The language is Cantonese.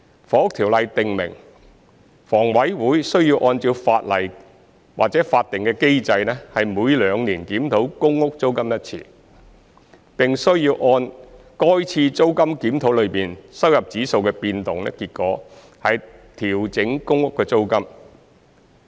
《房屋條例》訂明，房委會需要按照法定機制每兩年檢討公屋租金一次，並需要按該次租金檢討中收入指數的變動結果調整公屋租金。